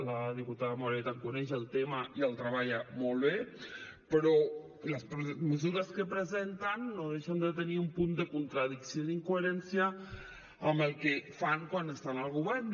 la diputada moreta coneix el tema i el treballa molt bé però les mesures que presenten no deixen de tenir un punt de contradicció i d’incoherència amb el que fan quan estan al govern